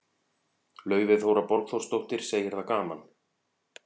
Laufey Þóra Borgþórsdóttir, segir það gaman.